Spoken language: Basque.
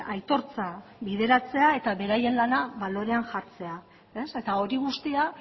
aitortza bideratzea eta beraien lana balorean jartzea eta hori guztia